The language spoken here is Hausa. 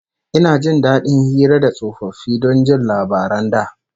Ina jin dadin hira da tsofaffi don jin labaran da